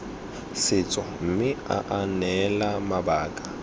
setso mme aa neela mabaka